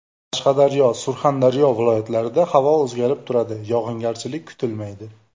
Qashqadaryo , Surxondaryo viloyatlarida havo o‘zgarib turadi, yog‘ingarchilik kutilmaydi.